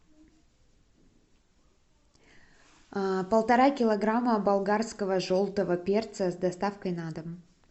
полтора килограмма болгарского желтого перца с доставкой на дом